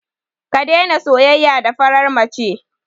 Ka daina soyayya da farar mace.